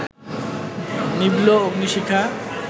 নিভল অগ্নিশিখা